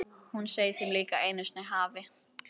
Hún segir þeim líka að einu sinni hafi